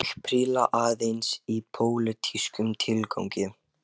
Ég príla aðeins í pólitískum tilgangi